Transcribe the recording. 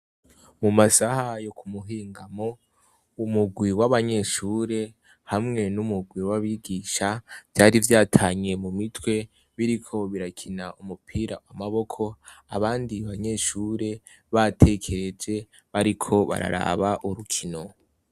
Mu masahayo ku muhingamo umugwi w'abanyeshure hamwe n'umugwi w'abigisha vyari vyatanyiye mu mitwe biriko birakina umupira wamaboko abandi banyeshure batekeeje bariko bararaba urukino.